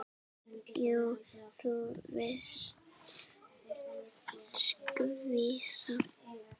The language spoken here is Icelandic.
Já, þú varst skvísa.